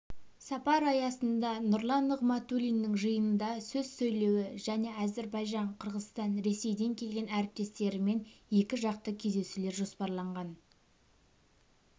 сапар аясында нұрлан нығматулиннің жиынында сөз сөйлеуі және әзербайжан қырғызстан ресейден келген әріптестерімен екіжақты кездесулер жоспарланған